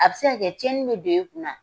A be se ka kɛ tiɲɛni be don i kunna.